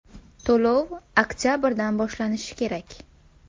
To‘lov oktabrdan boshlanishi kerak.